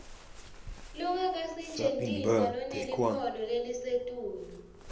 longakasetjentiswa lonelikhono lelisetulu